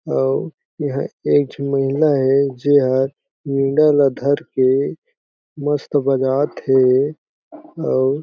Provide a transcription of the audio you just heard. अउर एहा एक झुनेयेला हे जेहा धर के मस्त बगात हे अउ--